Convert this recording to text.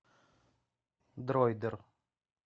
дроидер